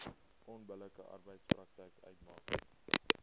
onbillike arbeidspraktyk uitmaak